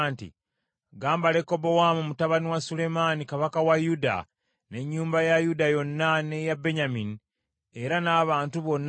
“Gamba Lekobowaamu mutabani wa Sulemaani kabaka wa Yuda, n’ennyumba ya Yuda yonna n’eya Benyamini, era n’abantu bonna nti,